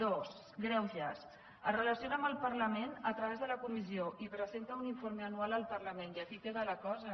dues gregues es relaciona amb el parlament a través de la comissió i presenta un informe anual al parlament i aquí queda la cosa